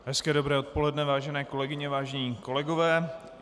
Hezké dobré odpoledne, vážené kolegyně, vážení kolegové.